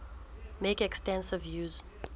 make extensive use